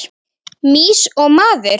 Mýs og maður.